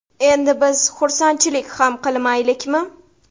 Endi biz xursandchilik ham qilmaylikmi?